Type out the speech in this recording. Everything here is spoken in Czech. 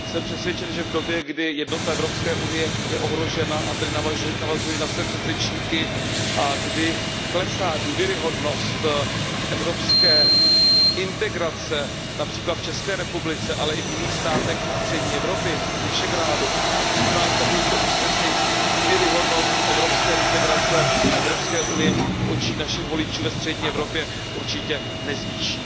Jsem přesvědčen, že v době, kdy je jednota Evropské unie ohrožena, a tedy navazuji na své předřečníky, kdy klesá důvěryhodnost evropské integrace, například v České republice, ale i v jiných státech střední Evropy, v zemích Visegrádu, tak přijímání takovýchto usnesení důvěryhodnost evropské integrace a Evropské unie v očích našich voličů ve střední Evropě určitě nezvýší.